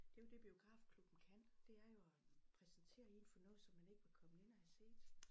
Det jo det biografklubben kan det er jo at præsentere en for noget som man ikke var kommet ind og havde set